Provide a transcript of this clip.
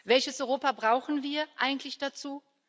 Welches Europa brauchen wir eigentlich dazu?